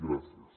gràcies